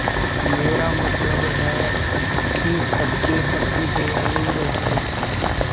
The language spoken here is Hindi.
मेरा मतलब है कि सबके प्रति दयालु रहें